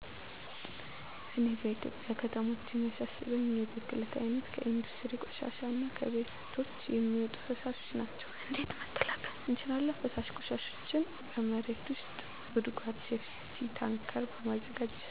እኔ በኢትዮጵያ ከተሞች የሚያሳስበኝ የብክለት አይነት ከኢንዱስትሪ ቆሻሻ እና ከቤቶች የሚወጡ ፍሣሾች ናቸው። እንዴት መከላከል እንችላለን ፈሣሽ ቆሻሾችን በመሬት ውስጥ ጉድጓድ(ሴፍቲታንከር) በማዘጋጀት።